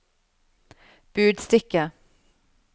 budstikke